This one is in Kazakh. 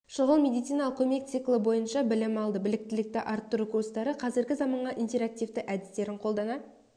шұғыл медициналық көмек циклы бойынша білім алды біліктілікті арттыру курстары қазіргі заманғы интерактивті әдістерін қолдана